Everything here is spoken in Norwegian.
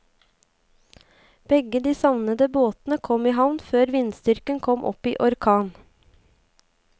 Begge de savnede båtene kom i havn før vindstyrken kom opp i orkan.